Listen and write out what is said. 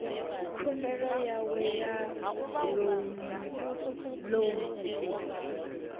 khumbelo yawe ya lounu ḽoan